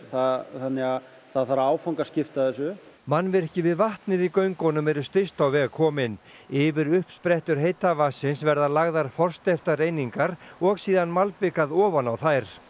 þannig að það þarf að áfangaskipta þessu mannvirki við vatnið í göngunum eru styst á veg komin yfir uppsprettur heita vatnsins verða lagðar forsteyptar einingar og malbikað ofan á þær